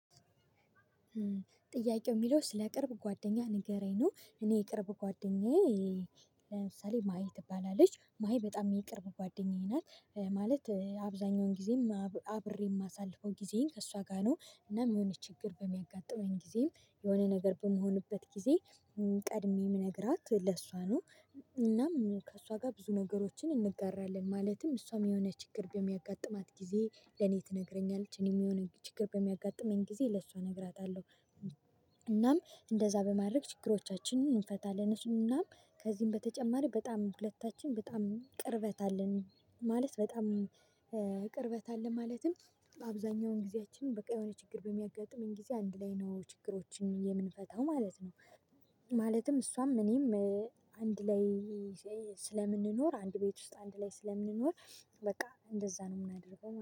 ጥያቄው? ሚለው ስለ ቅርብ ጓደኛህ ንገረኝ ነው እኔ ቅርብ እ ጓደኛዬ። ለምሳሌ ማሒ ትባላለች ማሒ በጣም የቅርብ ጓደኛዬ ናት። እ ማለት እ አብዛኛውን ጊዜም አብሬ የማሳልፈው ጊዜን ከእሷ ጋር ነው እናም የሆነ ችግር በሚያጋጥመኝ ጊዜም የሆነ ነገር በምሆንበት ጊዜ እም ቀድሜ ምነግራት ለሷ ነው። እናም ከሷ ጋር ብዙ ነገሮችን እንጋራለን ማለትም እሷም የሆነ ችግር በሚያጋጥማት ጊዜ ለኔ ትነግረኛለች እኔም የሆነ ችግር በሚያጋጥመኝ ጊዜ ለሷ እነግራታለሁ። እናም እንደዛ በማድረግ ችግሮቻችንን እንፈታለን እሱምና። ከዚህም በተጨማሪ በጣም ሁለታችን በጣም ቅርበት አለን። ማለት በጣም እ ቅርበት አለን ማለትም በአብዛኛውን ጊዜያችን በቃ የሆነ ችግር በሚያጋጥመኝ ጊዜ አንድ ላይ ነው ችግሮችን የምንፈታው ማለት ነው። ማለትም እሷም እኔም እ አንድ ላይ ስለምንኖር አንድ ቤት ውስጥ አንድ ላይ ስለምንኖር። በቃ እንደዛ ነው የምናደርገው